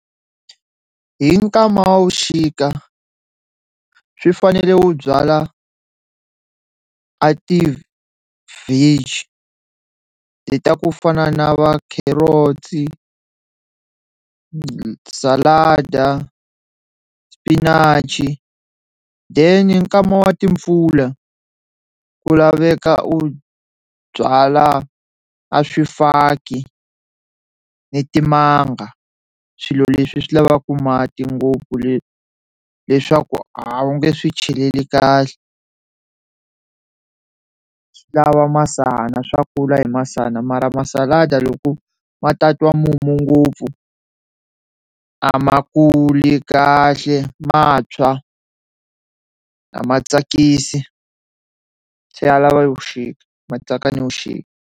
Hi nkama wa vuxika swi fanele ku byala a ti veggie ta ku fana na va kherotsi, salada, xipinachi then hi nkama wa timpfula ku laveka u byala a swifaki ni timanga swilo leswi swi lavaku mati ngopfu leswaku a wu nge swi cheleli kahle, swi lava masana swa kula hi masana mara masalada loko ma tatwa mumu ngopfu a ma kuli kahle ma tshwa a ma tsakisi se ya lava yo ya .